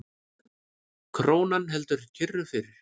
Krónan heldur kyrru fyrir